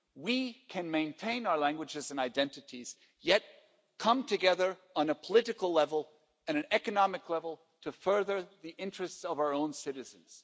We can maintain our languages and identities, yet come together on a political level and an economic level to further the interests of our own citizens.